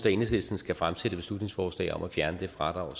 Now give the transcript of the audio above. at enhedslisten skal fremsætte et beslutningsforslag om at fjerne det fradrag